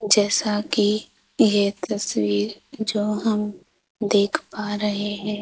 जैसा कि यह तस्वीर जो हम देख पा रहे हैं।